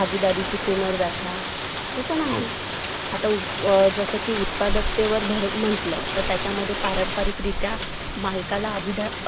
अम्रीत्सर घाट सीहसीन आणि मददसार म्हणूनही ओळखले जाते बिंदुसार जा महा मौर्य सम्राट अशोक चा पिता होता चंद्रगुप्त मौर्यानी